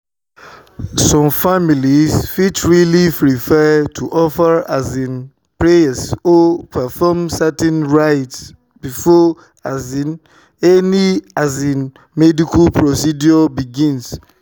some families fit really prefer to offer um prayers or perform certain rites before um any um medical procedure begins."